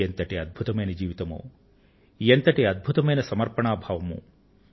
ఎంతటి అద్భుతమైన జీవితమో ఎంతటి అద్భుతమైన సమర్పణా భావమో